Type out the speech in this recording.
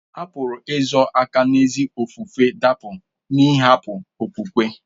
A pụrụ izo aka n'ezi ofufe dapụ n'ịhapụ okwukwe.